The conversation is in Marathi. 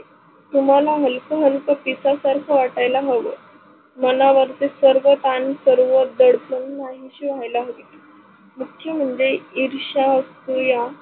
तुमाला हल्क हल्क पिसा सारखं वाटायला हव, मनावरचे सर्व तान सर्व दडपन नाहीस व्हायला हवी. मुख्य म्हनजे इर्ष्या, असुया